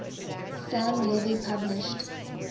sam levy published